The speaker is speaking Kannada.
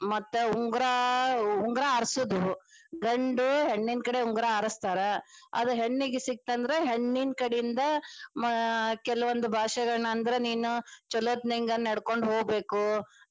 ಮತ್ತ ಉಂಗರಾ ಉಂಗರಾ ಆರಸುದು ಗಂಡು ಹೆಣ್ಣಿನ ಕಡೆ ಉಂಗರಾ ಆರಸ್ತಾರ ಅದ ಹೆಣ್ಣಿಗ ಸಿಗತ್ತಂದ್ರ ಹೆಣ್ಣಿನ ಕಡಿಂದ ಅಹ್ ಕೆಲವೊಂದ ಭಾಷೆಗಳನ್ನ ಅಂದ್ರ ನೀನು ಚೊಲೋತಂಗ ನಡ್ಕೊಂಡ ಹೋಗ್ಬೇಕು.